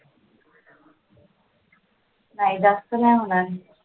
नाही जास्त नाही होणार